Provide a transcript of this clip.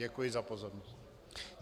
Děkuji za pozornost.